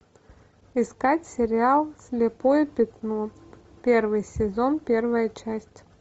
искать сериал слепое пятно первый сезон первая часть